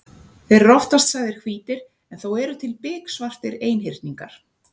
Þeir eru oftast sagðir hvítir en þó eru til biksvartir einhyrningar.